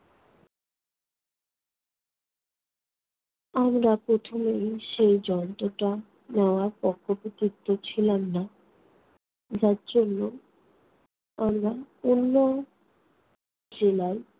আমরা প্রথমেই সেই যন্ত্রটা নেওয়ার পক্ষপাতি কেউ ছিলাম না। যার জন্য আমরা অন্য জেলায়